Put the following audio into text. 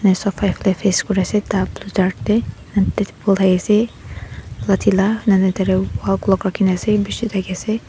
na sofa ekta face kora ase dark blue dark teh polai ase lathi lah wall clock rakhi na ase bishi thake ase.